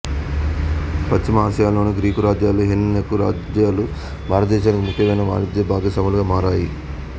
పశ్చిమ ఆసియాలోని గ్రీకు రాజ్యాలు హెలెనికు రాజ్యాలు భారతదేశానికి ముఖ్యమైన వాణిజ్య భాగస్వాములుగా మారాయి